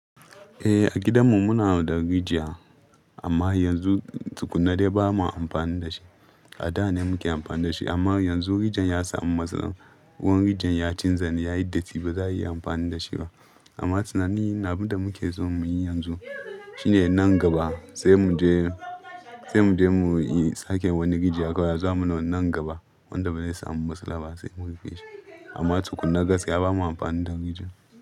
Eh a gidanmu muna da rijiya amma yanzu tukunna dai ba ma amfani da shi. A da ne muke amfani da shi amma yanzu rijiyar ya samu matsala. Ruwan rijiyar ya canja ne, ya yi datti ba za a iya amfani da shi ba. Amma tunani na abin da muke so mu yi yanzu shine nan gaba sai mu je, sai mu je mu yi sake wani rijiya kawai. Zaa muna wannan gaba wanda ba zai samu matsala ba sai mu ru feshi. Amma tukunna gaskiya ba ma amfani da rijiyar.